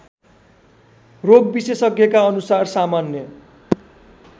रोगविशेषज्ञका अनुसार सामान्य